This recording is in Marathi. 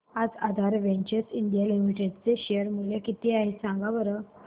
आज आधार वेंचर्स इंडिया लिमिटेड चे शेअर चे मूल्य किती आहे सांगा बरं